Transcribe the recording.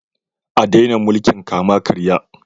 A daina mulkin kama-karya